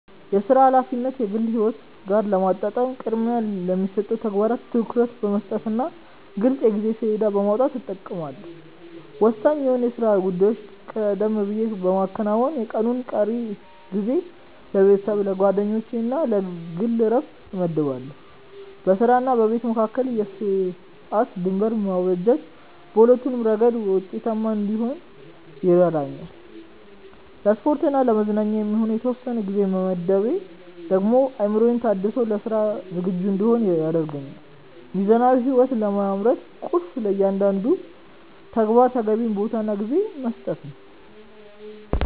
የሥራ ኃላፊነትን ከግል ሕይወት ጋር ለማጣጣም ቅድሚያ ለሚሰጣቸው ተግባራት ትኩረት በመስጠትና ግልጽ የጊዜ ሰሌዳ በማውጣት እጠቀማለሁ። ወሳኝ የሆኑ የሥራ ጉዳዮችን ቀደም ብዬ በማከናወን፣ የቀኑን ቀሪ ጊዜ ለቤተሰብ፣ ለጓደኞችና ለግል ዕረፍት እመድባለሁ። በሥራና በቤት መካከል የሰዓት ድንበር ማበጀት በሁለቱም ረገድ ውጤታማ እንድሆን ይረዳኛል። ለስፖርትና ለመዝናኛ የሚሆን የተወሰነ ጊዜ መመደቤ ደግሞ አእምሮዬ ታድሶ ለሥራ ዝግጁ እንድሆን ያደርገኛል። ሚዛናዊ ሕይወት ለመምራት ቁልፉ ለእያንዳንዱ ተግባር ተገቢውን ቦታና ጊዜ መስጠት ነው።